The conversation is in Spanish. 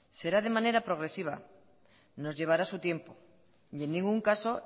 será de manera progresiva nos llevará su tiempo y en ningún caso